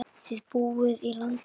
Þið búið í landi guðs.